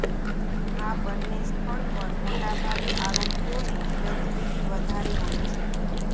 આ બંને સ્થળ પર મોટાભાગે આરોપીઓની ગતિવિધી વધારે હોય છે